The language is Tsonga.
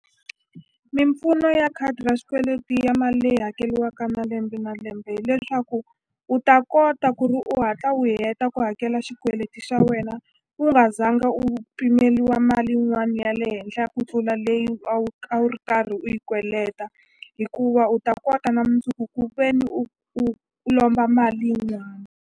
Mimpfuno ya khadi ra xikweleti ya mali leyi hakeliwaka na lembe na lembe hileswaku u ta kota ku ri u hatla u heta ku hakela xikweleti xa wena u nga zanga nga u pimeliwa mali yin'wani ya le henhla ku tlula leyi a wu a wu ri karhi u yi kweleta hikuva u ta kota na mundzuku ku veni u u u lomba mali yin'wana.